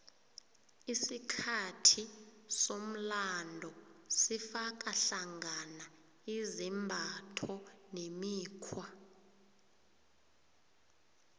isikhathi somlando sifaka hlangana izimbatho nemikghwa